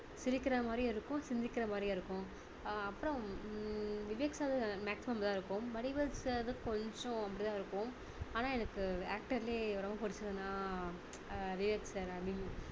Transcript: சிரிக்கிற மாதிரியும் இருக்கும் சிந்திக்கிற மாதிரியும் இருக்கும் அஹ் அப்பறம் ஹம் விவேக் sir maximum நல்லா இருக்கும் வடிவேலு sir கொஞ்சம் அப்படி தான் இருக்கும் ஆனா எனக்கு actor லயே ரொம்ப பிடிச்சதுன்னா ஆஹ் விவேக் sir